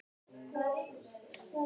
Ég held að það megi nú rimpa það saman.